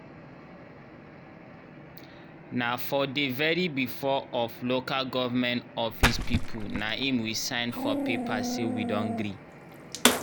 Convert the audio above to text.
nah for dey very before of loka government office pipu naim we sign for paper say we don gree